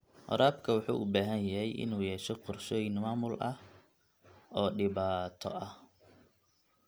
Waraabka wuxuu u baahan yahay inuu yeesho qorshooyin maamul oo dhibaato ah.